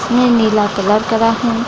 ये नीला कलर करा है।